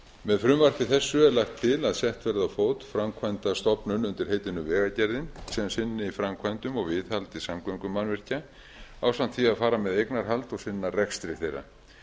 með frumvarpi þessu er lagt til að sett verði á fót framkvæmdastofnun undir heitinu vegagerðin sem sinni framkvæmdum og viðhaldi samgöngumannvirkja ásamt því að fara með eignarhald og sinna rekstri þeirra